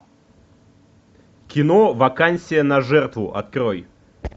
кино вакансия на жертву открой